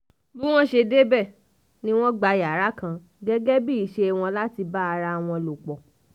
bí wọ́n ṣe débẹ̀ ni wọ́n ti gba yàrá kan gẹ́gẹ́ bíi iṣẹ́ wọn láti bá ara wọn lò pọ̀